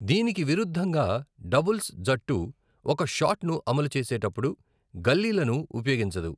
దీనికి విరుద్ధంగా, డబుల్స్ జట్టు ఒక షాట్ను అమలు చేసేటప్పుడు గల్లీలను ఉపయోగించదు.